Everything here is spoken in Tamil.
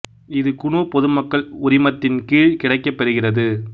இது குனு பொது மக்கள் உரிமத்தின் கீழ் கிடைக்கப் பெறுகிறது